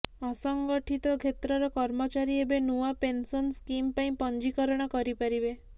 ଅସଂଗଠିତ କ୍ଷେତ୍ରର କର୍ମଚାରୀ ଏବେ ନୂଆ ପେନସନ ସ୍କିମ ପାଇଁ ପଞ୍ଜୀକରଣ କରିପାରିବେ